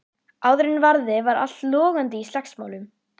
Áður en varði var allt logandi í slagsmálum.